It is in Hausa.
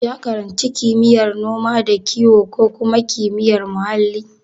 Ya karanci kimiyyar noma da kiwo ko kuma kimiyyar muhalli?